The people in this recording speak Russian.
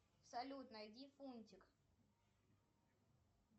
салют найди фунтик